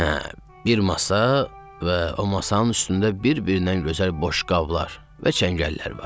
Hə, bir masa və o masanın üstündə bir-birindən gözəl boşqablar və çəngəllər var.